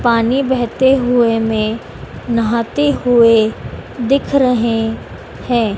पानी बहते हुए में नहाते हुए दिख रहे हैं।